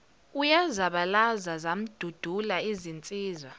uyazabalaza zamdudula izinsizwa